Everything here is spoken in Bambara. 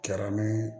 Kɛra ni